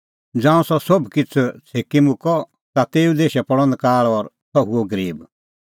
ज़ांऊं सह सोभ किछ़ छेभी मुक्कअ ता तेऊ देशै पल़अ नकाल़ और सह हुअ गरीब